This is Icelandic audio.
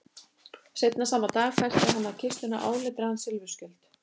Seinna sama dag festi hann á kistuna áletraðan silfurskjöld.